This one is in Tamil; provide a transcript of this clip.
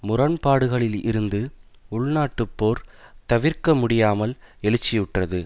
முரண்பாடுகளில் இருந்து உள்நாட்டுப் போர் தவிர்க்க முடியாமல் எழுச்சியுற்றது